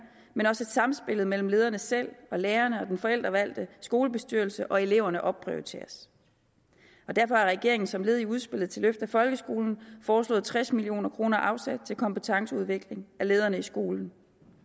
men også at samspillet mellem lederne selv og lærerne og den forældrevalgte skolebestyrelse og eleverne opprioriteres derfor har regeringen som led i udspillet til et løft af folkeskolen foreslået tres million kroner afsat til kompetenceudvikling af lederne i skolen